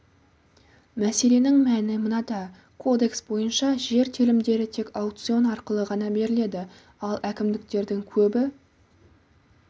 мәселенің мәні мынада кодекс бойынша жер телімдері тек аукцион арқылы ғана беріледі ал әкімдіктердің көбі